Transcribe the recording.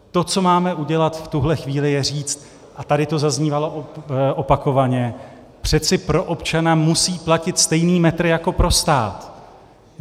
To, co máme udělat v tuhle chvíli, je říct, a tady to zaznívalo opakovaně: přeci pro občana musí platit stejný metr jako pro stát.